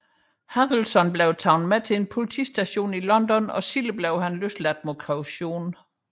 Harrelson blev taget med på en politistation i London og blev senere løsladt mod kaution